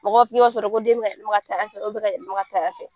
Mɔgɔ sɔrɔ ko den bɛka taa fɛ taa fɛ